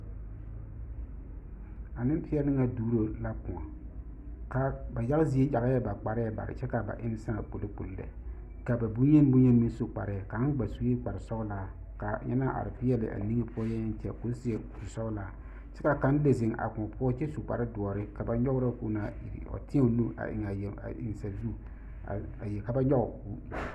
A nenpeɛle ŋa duɡro la kõɔ ba yaɡa zie yaɡɛɛ ba kparɛɛ bare kyɛ ka ba enne sãã kpolokpolo lɛ ka ba bonyenibonyeni meŋ su kparɛɛ kaŋ ɡba sue kparsɔɡelaa ka a ŋa naŋ are peɛle a niŋe yɛyɛŋɛɛ kyɛ ka o seɛ kursɔɔlaa kyɛ ka kaŋ lezeŋ a kõɔ poɔ kyɛ seɛ kurdoɔre ka ba nyɔɡerɔ ka o naa iri ka o tēɛ o nu ka ba nyɔɡe.